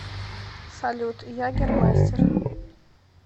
салют ягермастер